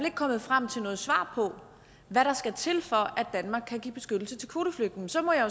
kommet frem til noget svar på hvad der skal til for at danmark kan give beskyttelse til kvoteflygtninge så må jeg